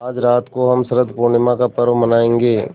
आज रात को हम शरत पूर्णिमा का पर्व मनाएँगे